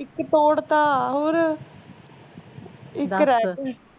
ਇੱਕ ਤੋੜਤਾ ਹੋਰ ਇੱਕ ਰਹਿ